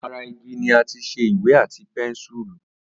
Ara igi ni àti ṣe Ìwé àti pẹ́nsùrù